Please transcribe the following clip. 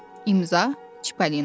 İmza, Çippolina.